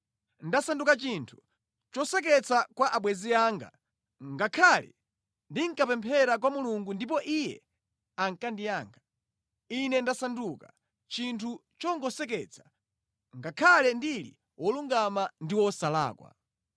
“Ndasanduka chinthu choseketsa kwa abwenzi anga, ngakhale ndinkapemphera kwa Mulungu ndipo Iye ankandiyankha. Ine ndasanduka chinthu chongoseketsa, ngakhale ndili wolungama ndi wosalakwa!